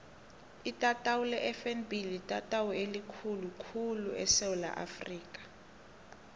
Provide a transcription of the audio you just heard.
itatawu lefnb litatawu elikhulu khulu esewula afrika